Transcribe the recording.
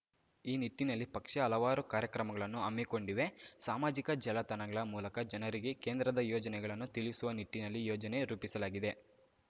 ಈ ನಿಟ್ಟಿನಲ್ಲಿ ಪಕ್ಷ ಹಲವಾರು ಕಾರ್ಯಕ್ರಮಗಳನ್ನು ಹಮ್ಮಿಕೊಂಡಿವೆ ಸಾಮಾಜಿಕ ಜಾಲತಾಣಗಳ ಮೂಲಕ ಜನರಿಗೆ ಕೇಂದ್ರದ ಯೋಜನೆಗಳನ್ನು ತಿಳಿಸುವ ನಿಟ್ಟಿನಲ್ಲಿ ಯೋಜನೆ ರೂಪಿಸಲಾಗಿದೆ